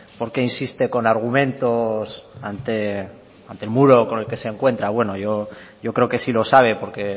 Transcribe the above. por qué insiste con argumentos ante el muro con el que se encuentra bueno yo creo que sí lo sabe porque